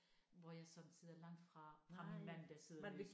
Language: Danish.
Hvor jeg sådan sidder langt fra fra min mand der sidder nede i